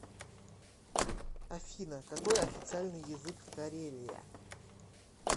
афина какой официальный язык в карелия